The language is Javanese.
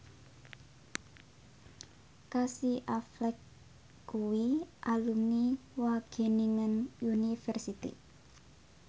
Casey Affleck kuwi alumni Wageningen University